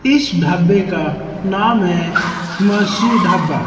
इस ढाबे का नाम है हिमांशी ढाबा।